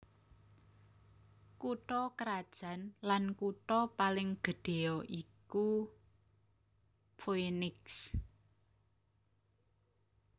Kutha krajan lan kutha paling gedhéya iku Phoenix